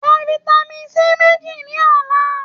Ra Vitamin C méjì ní ọ̀la.